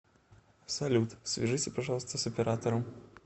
салют свяжите пожалуйста с оператором